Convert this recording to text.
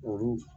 Olu